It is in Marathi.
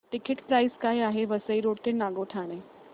टिकिट प्राइस काय आहे वसई रोड ते नागोठणे